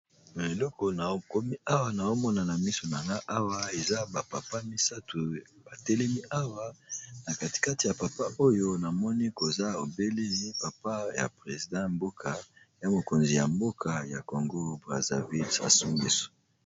Na eloko nakomi awa na omonana misonana awa eza bapapa misato batelemi awa na katikati ya papa oyo namoni koza obelemi papa ya president mboka ya mokonzi ya mboka ya congo brazaville assongiso.